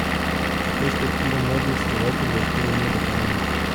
Perspektiva mladih skladateljev torej ni obetavna?